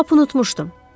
Lap unutmuşdum.